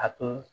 A to